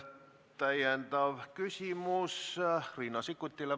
Täpsustav küsimus Riina Sikkutilt.